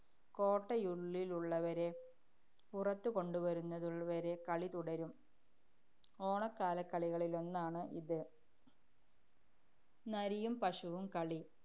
കോട്ട'യിലുള്ളവരെ പുറത്തുകൊണ്ടുവരുന്നതുവരെ കളി തുടരും ഓണക്കാലകളികളിലൊന്നാണ് ഇത്. നരിയും പശുവും കളി.